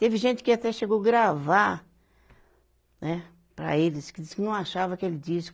Teve gente que até chegou gravar, né, para eles, que disse que não achava aquele disco.